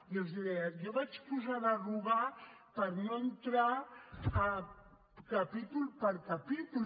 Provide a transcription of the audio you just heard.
jo els deia jo vaig posar derogar per no entrar capítol per capítol